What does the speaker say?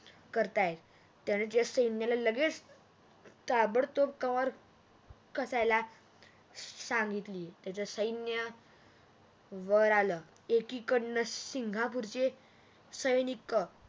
करतायेत त्याने त्या सैन्याला लगेच ताबडतोब कर कासायला सांगितली त्याचे सैन्य वर आल एकीकडण सिंगहापुरचे सैनिक